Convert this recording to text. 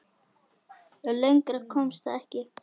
Lengra komst það ekki.